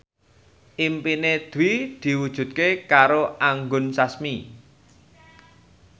impine Dwi diwujudke karo Anggun Sasmi